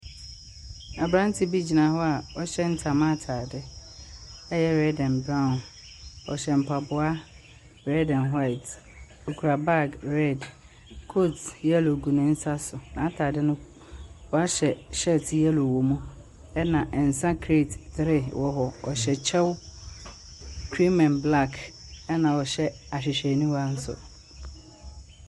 Aberante bi gyina hɔ a ɔhyɛ ntama atare a ɛyɛ red and brown. Ɔhyɛ mpaboa red and white. Ɔkura bag red, coat yellow gu ne nsa so. N'atare no, wahyɛ shirt yellow wɔ mu, ɛna nsa create three wɔ hɔ. Ɔhyɛ kyɛw cream and black, ɛna ɔhyɛ ahwehwɛniwa nso.